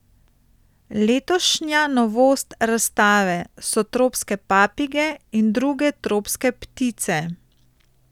Letošnja novost razstave so tropske papige in druge tropske ptice.